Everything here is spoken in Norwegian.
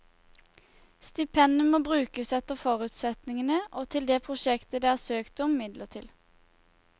Stipendet må brukes etter forutsetningene og til det prosjektet det er søkt om midler til.